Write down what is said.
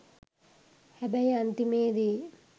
හැබැයි අන්තිමේදි